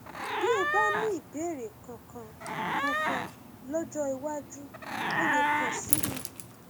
bí o bá ní ìbéèrè kankan kankan lọjọ iwájú o lè kàn sí mi